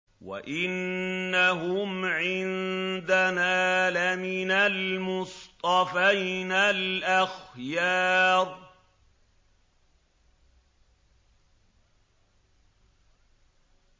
وَإِنَّهُمْ عِندَنَا لَمِنَ الْمُصْطَفَيْنَ الْأَخْيَارِ